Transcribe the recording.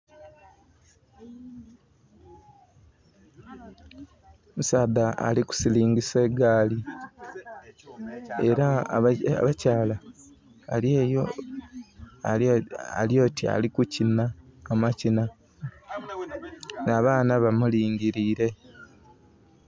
Omusaadha ali ku siringisa egaali era omukyala alyeyo ali oti ali kukinha amakinha, abaana ba mulingirire.